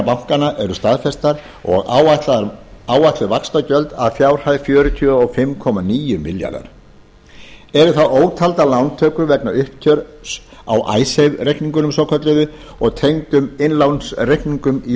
bankanna eru staðfestar og áætluð vaxtagjöld að fjárhæð fjörutíu og fimm komma níu milljarðar króna eru þá ótaldar lántökur vegna uppgjörs á icesave reikningunum svokölluðu og tengdum innlánsreikningum í